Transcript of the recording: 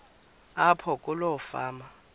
apho kuloo fama